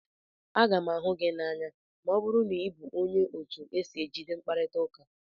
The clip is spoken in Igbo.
Aga m ahụ gị n'anya ma ọ bụrụ na ị bụ onye otu esi ejide mkparita ụka.